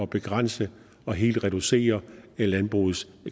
begrænse og helt reducere landbrugets